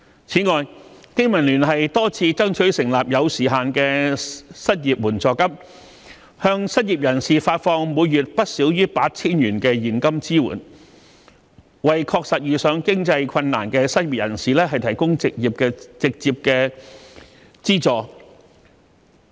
此外，香港經濟民生聯盟多次爭取成立有時限的失業援助金，向失業人士發放每月不少於 8,000 元的現金支援，為確實遇上經濟困難的失業人士提供直接資助。